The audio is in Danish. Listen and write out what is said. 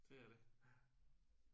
Det er det